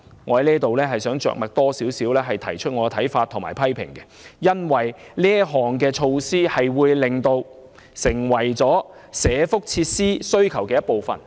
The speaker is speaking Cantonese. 我想對此多點着墨，以表達我的看法和批評，因為這項措施會令政府成為社福設施需求的一部分。